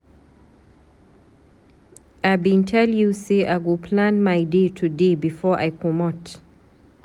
I bin tell you sey I go plan my day today before I comot.